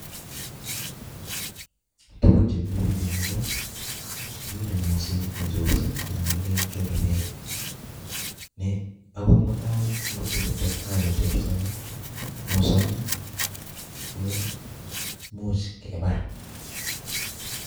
Tugun che mile biich eng' yuuu ko agere moset ne chorsei, anan ne kilen choree beek. Ne angot mutai ngotikotestai kochorso mosoni, ko imuch kebar